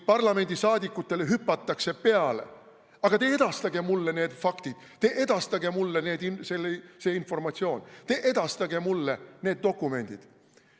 Parlamendiliikmetele hüpatakse peale, et aga edastage mulle need faktid, edastage mulle see informatsioon, edastage mulle need dokumendid.